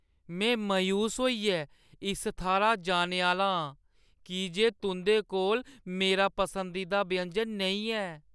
में मायूस होइयै इस थाह्‌रा जाने आह्‌ला आं की जे तुंʼदे कोल मेरा पसंदीदा व्यंजन नेईं है।